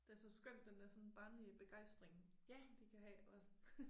Det er så skønt den dér sådan barnlige begejstring de kan have også